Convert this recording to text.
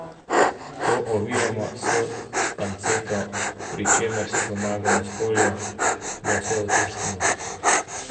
To ovijemo s panceto, pri čemer si pomagamo s folijo, da vse učvrstimo.